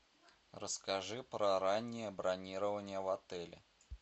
расскажи про раннее бронирование в отеле